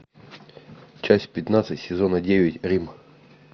часть пятнадцать сезона девять рим